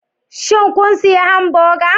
Shin kun sayi hamburger?